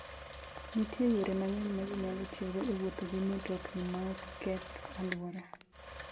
Nitie yore mang'eny ma ji nyalo tiyogo e wuotho gi mtokni maok keth alwora.